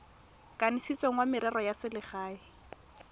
kanisitsweng wa merero ya selegae